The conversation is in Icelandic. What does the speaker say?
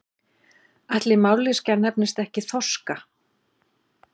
Ætli mállýskan nefnist ekki þorska?